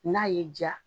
N'a y'i diya